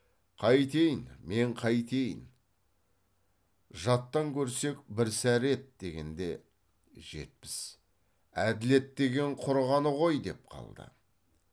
қайтейін мен қайтейін жаттан көрсек бір сәрі еді дегенде жетпіс әділет деген құрығаны ғой деп қалды